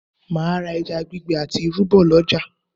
Mà á ra ẹja gbígbẹ àti irú bọ̀ lọ́jà